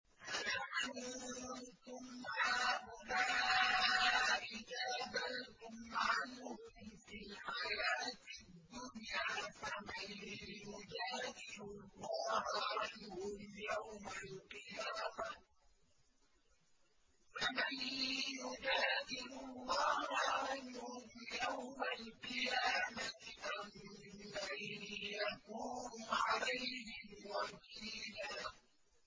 هَا أَنتُمْ هَٰؤُلَاءِ جَادَلْتُمْ عَنْهُمْ فِي الْحَيَاةِ الدُّنْيَا فَمَن يُجَادِلُ اللَّهَ عَنْهُمْ يَوْمَ الْقِيَامَةِ أَم مَّن يَكُونُ عَلَيْهِمْ وَكِيلًا